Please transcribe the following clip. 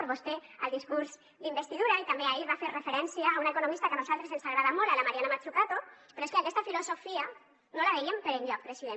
vostè al discurs d’investidura i també ahir va fer referència a una economista que a nosaltres ens agrada molt a la mariana mazzucato però és que aquesta filosofia no la veiem per enlloc president